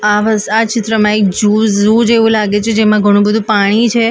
આ વસ આ ચિત્રમાં એક જુઝ ઝૂ જેવું લાગે છે જેમાં ઘણું બધું પાણી છે એક અન્ડર --